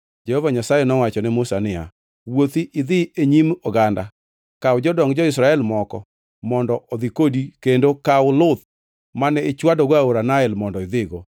Jehova Nyasaye nowacho ne Musa niya, “Wuothi idhi e nyim oganda. Kaw jodong jo-Israel moko mondo odhi kodi kendo kaw luth mane ichwadogo aora Nael mondo idhigo.